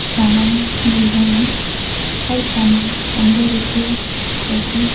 सामान मिल रहे हैं हर सामान पंद्रह रुपया प्रति --